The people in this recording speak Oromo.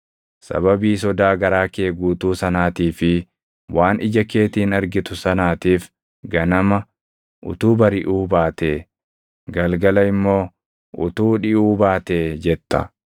Sababii sodaa garaa kee guutuu sanaatii fi waan ija keetiin argitu sanaatiif ganama, “Utuu bariʼuu baatee!” galgala immoo, “Utuu dhiʼuu baatee!” jetta.